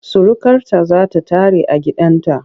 Surukarta za ta tare a gidanta.